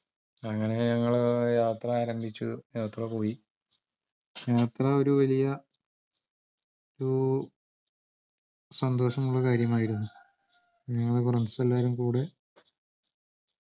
അങ്ങനെ ഞങ്ങളെ യാത്ര ആരംഭിച്ചു യാത്ര പോയി ഒരുവലിയ ഒരു സന്തോഷമുള്ള കാര്യമായിരുന്നു ഞങ്ങൾ friends എല്ലാരുംകൂടെ